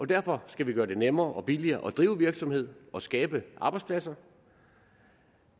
derfor skal vi gøre det nemmere og billigere at drive virksomhed og skabe arbejdspladser